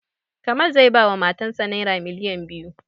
Kamal zai ba wa matan sa naira miliyan biyu